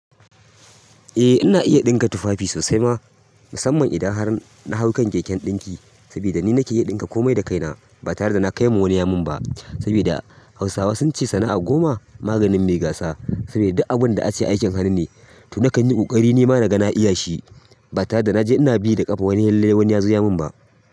Eh ina iya ɗinka tufafi sosai ma musamman idan har na hau kan keken ɗinki saboda ni nake iya ɗinka komai da kaina ba tare da na kai wa wani yamun ba saboda hausawa sun ce sana'a goma maganin mai gasa saboda duk abun da a ce aikin hannu ne to nakan yi ƙoƙari nima na ga na iya shi ba tare da na je ina bi da ƙafa wani lallai wani ya zo yamun ba.